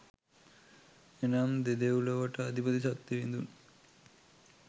එනම් දෙදෙව්ලොවට අධිපති සක් දෙවිඳුන්